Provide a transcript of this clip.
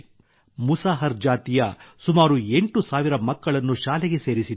ಮುಸಾಹರ್ ಜಾತಿಯ ಸುಮಾರು 8 ಸಾವಿರ ಮಕ್ಕಳನ್ನು ಶಾಲೆಗೆ ಸೇರಿಸಿದ್ದಾರೆ